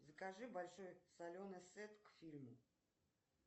закажи большой соленый сет к фильму